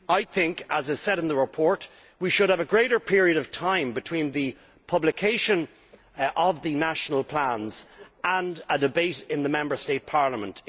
I think, as is said in the report, we should have a longer period of time between the publication of the national plans and a debate in the Member State parliament.